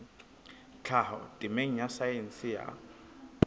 tlhaho temeng ya saense ya